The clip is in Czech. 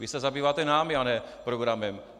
Vy se zabýváte námi a ne programem.